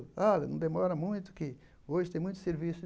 Olha, não demora muito, que hoje tem muito serviço.